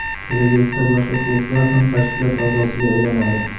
Kelajakda boshqa klublar ham tashkilot a’zosiga aylanadi.